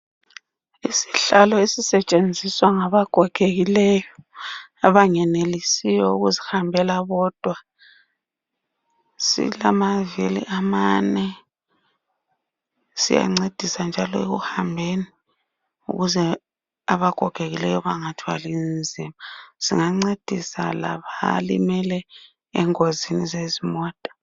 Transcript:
Isihlalo esisetshenziswa ngabagogekileyo abangenelisiyo ukuzihambela bodwa. Silamavili amane siyancedisa njalo ekuhambeni ukuze abagogekileyo bengathwali nzima. Singancedisa labalimele ezingozini zezimota.